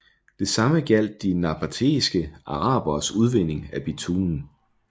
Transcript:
Det samme gjaldt de nabatæiske araberes udvinding af bitumen